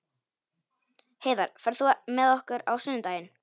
Heiðar, ferð þú með okkur á sunnudaginn?